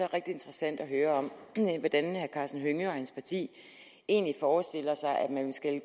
rigtig interessant at høre om hvordan herre karsten hønge og hans parti egentlig forestiller sig at man skal